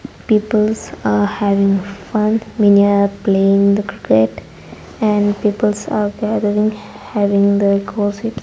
peoples are having fun many are playing the cricket and peoples are gathering having the gossip.